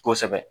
Kosɛbɛ